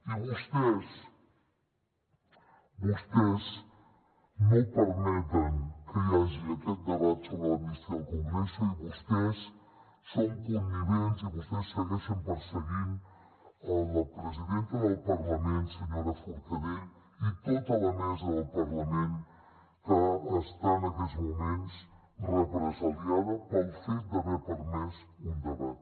i vostès vostès no permeten que hi hagi aquest debat sobre l’admissió al congreso i vostès són connivents i vostès segueixen perseguint la presidenta del parlament la senyora forcadell i tota la mesa del parlament que està en aquests moments represaliada pel fet d’haver permès un debat